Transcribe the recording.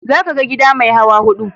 Za ka ga gida mai hawa hudu.